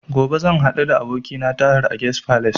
Gobe zan haɗu da abokina a Tahir Guest Falace